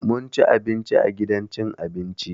Mun ci abinci a gidan cin abinci.